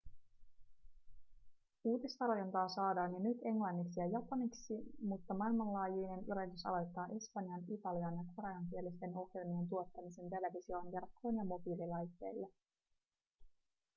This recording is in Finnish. uutistarjontaa saadaan jo nyt englanniksi ja japaniksi mutta maailmanlaajuinen yritys aloittaa espanjan- italian- ja koreankielisten ohjelmien tuottamisen televisioon verkkoon ja mobiililaitteille